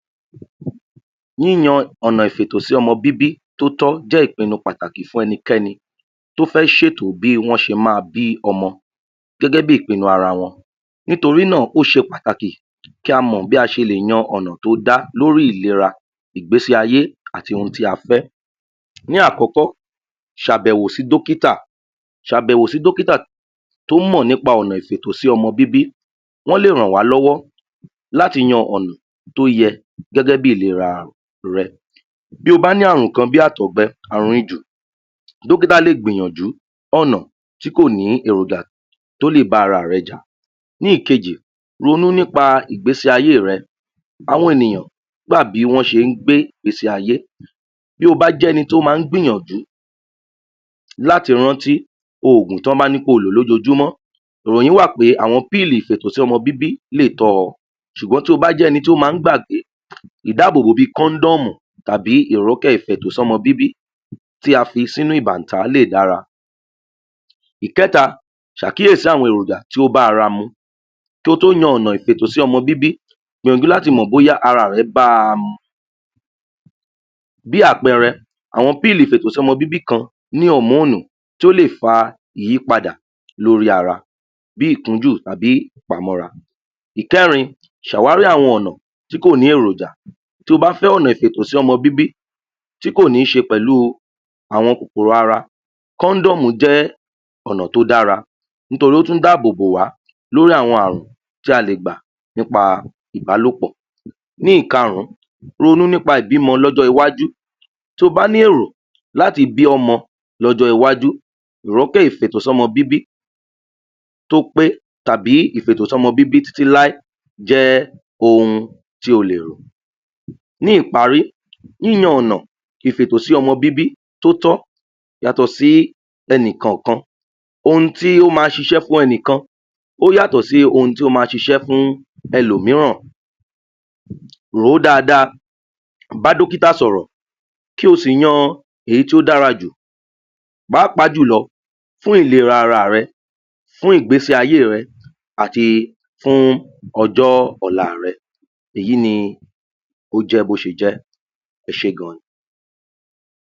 Yíyan ọ̀nà ìfètòsọ́mọ bíbí tó tó jẹ́ ìpinu pàtàkì fún enikéni tó fé sètò bí wọ́n ṣe ma bí ọmọ gégébí ìpinu ara wọn nítorí náà ó ṣe pàtàkì kí a mọ̀ bí a ṣe lè yan ọ̀nà tó dá lórí ìlera ìgbésé ayé àti ohun tí a fẹ́ ní àkọ́kọ́ sàbẹwò sí dókítà sàbẹ̀wò sí dókítà tó mọ̀ ní pa ọ̀nà ìfètò sí ọmọ bíbí ó lè rànwá lọ́wọ́ láti yen ọ̀nà tó yẹ gẹ́gébí ìlera rẹ bí o bá ní àrùn kan bí àtọ̀gbe, àrùn jù dókítà lè gbìyànjú ọ̀nà kòní èròjà tó lè bá ara rẹ jà ní ìkejì ronú ní́pa ìgbésé ayé rẹ àwọn ènìyàn gbá bí wọ́n ṣe ún gbé ìgbèsè ayé to bá jẹ́ eni to ́ má gbìyànjú láti rántí ògùn tì wọ́n bá ní kí o lò lójujúmọ́ ìròyìn wà pé àwọn píìlí ìfètò sọ́mọ bíbí lé tọ́ ọ sùgbón tio bá jẹ́ eni tó má gbàgbé ìdábòbò bí i kóndòmù tàbí irọ́ kẹ́ fètò sọ́mọ bíbí tí a fi sí inú ìbàntá lè dára ìkẹ́ta sàkíyèsí àwọn èròjà tó bá ara mu ko tó yan ọ̀nà ìfètò sọ́mọ bíbí gbìyànjú láti mọ̀ bóyá ara rẹ bá mu bí àpẹẹrẹ àwọn píilì ìfètò sọ́mọ bíbí kan ní ọ̀múnù tó lè fa ìyìpadà lórí ara bí ìkújù tàbí ìpamọ́ra pamọ́ra ìkẹ́rin sàwárí àwọn ọ̀nà tí kò ní èròjà to bá fẹ́ ọ̀nà ìfètò sí ọmọ bi tí kòní ṣe pẹ̀lú àwọn kòkòrò ara kọ́ndọ́mù jẹ́ ọ̀nà tó dára nítorí ó tún dábò bòwá lórí àwọn àrùn ta lè gbà nípa ìbálòpọ̀ ní ìkárún ronú nípa ìbímọ lọ̀jọ́ iwájù to bá ní èrò láti bí ọmọ lọ́jọ́ iwájú ró kó fètò sọ́mọ bíbí tó pé tàbí ìfètò sọ́mọ bíbí títí láí jẹ́ ohun tí o lè rò ní ìparí yíyan ọ̀nà ìfètò sí ọmọ bíbí tó tọ́ yàtọ̀ sí ẹnikọ̀kan ohun tí ó ma ṣiṣẹ́ fún ẹnìkan o ́ yàtọ̀ sí ohun tó ma ṣisẹ́ fún ẹ̀lòmíràn rò ó dáadáa bá dókítà sọ̀rọ̀ kí o sì yan èyí tó dára jù pàápàá jùlọ fún ìlera ara rẹ fún ìgbésé ayé rẹ àti fún ọjọ́ ọ̀la rẹ èyí ni ó jẹ́ bí ó ṣe jẹ ẹṣé gan ni